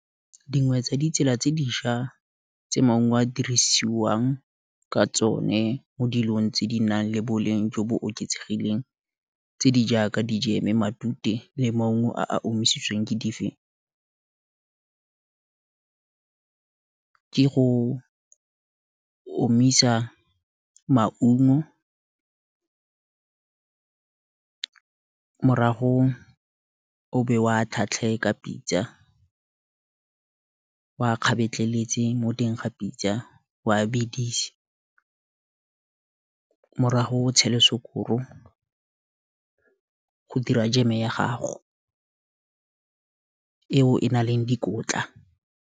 Dingwe tsa ditsela tse diša, maungo a dirisiwang ka tsone, mo dilong tse di nang le boleng jo bo oketsegileng tse di jaaka dijeme, matute, le maungo a a omisitsweng, ke dife, ke go omisa maungo, marago o be wa tlhatlhee ka pitsa, o a kgabetleletse mo teng ga pitsa, o a bedisa, morago o tshele sekoro, go dira jeme ya gago, eo e nang le dikotla.